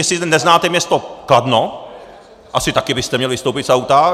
Jestli neznáte město Kladno, asi taky byste měl vystoupit z auta.